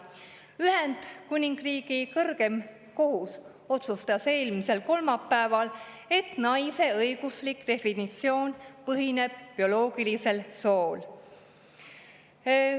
Ühendkuningriigi kõrgeim kohus otsustas eelmisel kolmapäeval, et naise õiguslik definitsioon põhineb bioloogilisel sool.